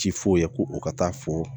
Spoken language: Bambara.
Ci f'o ye ko o ka taa fɔ